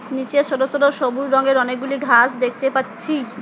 নীচে সোটো সোটো সবুজ রঙের অনেকগুলি ঘাস দেখতে পাচ্ছি।